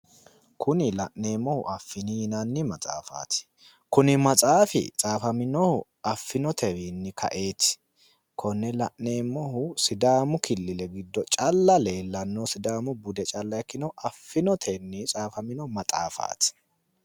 Kuni la'neemmohu affini yinanni matsaafaati. Kuni matsaafi tsaafaminohu affinotewiinni kaeeti. Konne la'neemmohu sidaamu killile giddo calla leellannohu sidaamu bude calla ikkinohu affinotenni tsaafamino matsaafaati.